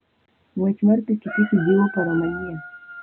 Ng'wech mar pikipiki jiwo paro manyien.